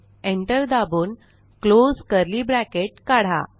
enter दाबून close curly bracket काढा